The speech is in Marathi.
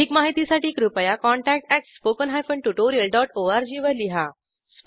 अधिक माहितीसाठी कृपया contact at spoken hyphen tutorial dot ORG वर लिहा